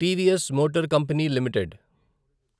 TVS motor company limited